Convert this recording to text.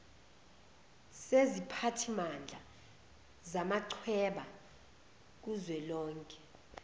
seziphathimandla zamachweba kuzwelonke